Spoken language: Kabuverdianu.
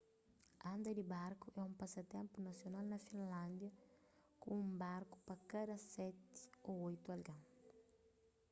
anda di barku é un pasatenpu nasional na finlándia ku un barku pa kada seti ô oitu algen